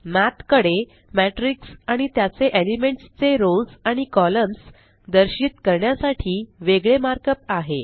मठ कडे Matrixआणि त्याचे एलिमेंट्स चे रोस आणि कॉलम्स दर्शित करण्यासाठी वेगळे मार्कअप आहे